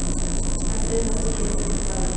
En auðvitað gerði hún það ekki.